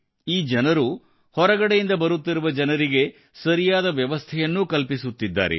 ಈ ಜನರು ಹೊರಗಡೆಯಿಂದ ಬರುತ್ತಿರುವ ಜನರಿಗೆ ಸರಿಯಾದ ವ್ಯವಸ್ಥೆಯನ್ನೂ ಕಲ್ಪಿಸುತ್ತಿದ್ದಾರೆ